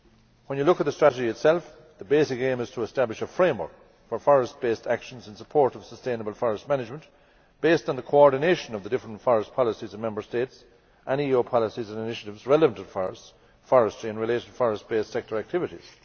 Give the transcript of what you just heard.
When you look at the strategy itself, the basic aim is to establish a framework for forest based actions and support for sustainable forest management, based on the coordination of the different forest policies in Member States and of EU policies and initiatives relative to forestry and related forest based sector activities.